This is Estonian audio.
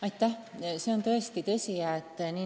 Aitäh!